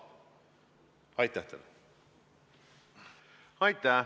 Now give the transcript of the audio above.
Aitäh!